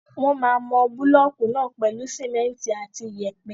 Wọ́n máa mọ búlọ̀kù náà pèlú simẹ́ntì àti iyẹ̀pẹ̀.